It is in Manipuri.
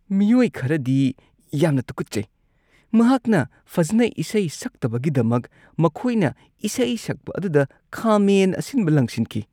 ꯃꯤꯑꯣꯏ ꯈꯔꯗꯤ ꯌꯥꯝꯅ ꯇꯨꯀꯠꯆꯩ꯫ ꯃꯍꯥꯛꯅ ꯐꯖꯅ ꯏꯁꯩ ꯁꯛꯇꯕꯒꯤꯗꯃꯛ ꯃꯈꯣꯏꯅ ꯏꯁꯩ ꯁꯛꯄ ꯑꯗꯨꯗ ꯈꯥꯃꯦꯟ ꯑꯁꯤꯟꯕ ꯂꯪꯁꯤꯟꯈꯤ꯫